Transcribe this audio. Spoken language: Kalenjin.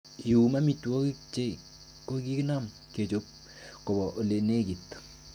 Iyum amitwogik che kokinam kechob koba ele nekit.